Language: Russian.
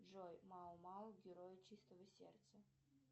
джой мао мао герои чистого сердца